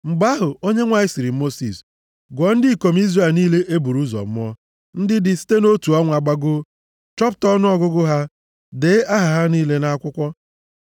Mgbe ahụ, Onyenwe anyị sịrị Mosis, “Gụọ ndị ikom Izrel niile e buru ụzọ mụọ, ndị dị site nʼotu ọnwa gbagoo. Chọpụta ọnụọgụgụ ha, dee aha ha niile nʼakwụkwọ.